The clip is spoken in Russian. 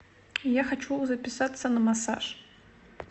я хочу записаться на массаж